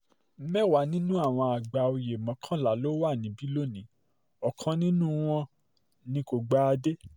mẹ́wàá nínú àwọn àgbà oyè mọ́kànlá ló wà níbí lónìí ọ̀kan nínú um wọn ni kò gba um adé